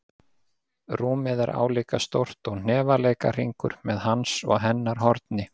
Rúmið er álíka stórt og hnefaleikahringur, með hans og hennar horni.